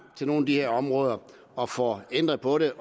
til nogle her områder og får ændret på det